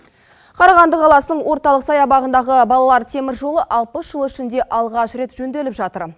қарағанды қаласының орталық саябағындағы балалар теміржолы алпыс жыл ішінде алғаш рет жөнделіп жатыр